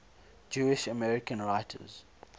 jewish american writers